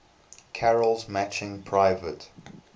carol's matching private